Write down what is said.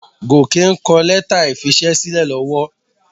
Gòkè ń kọ lẹ́tà ìfisẹ́sílẹ̀ lọ́wọ́.